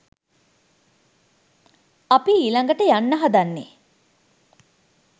අපි ඊළඟට යන්න හදන්නේ